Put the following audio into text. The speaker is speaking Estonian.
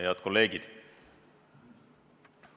Head kolleegid!